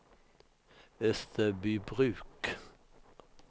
Österbybruk